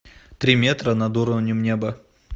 три метра над уровнем неба